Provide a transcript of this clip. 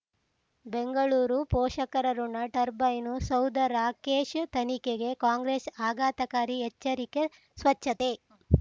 ಬೆಂಗಳೂರು ಪೋಷಕರಋಣ ಟರ್ಬೈನು ಸೌಧ ರಾಕೇಶ್ ತನಿಖೆಗೆ ಕಾಂಗ್ರೆಸ್ ಆಘಾತಕಾರಿ ಎಚ್ಚರಿಕೆ ಸ್ವಚ್ಛತೆ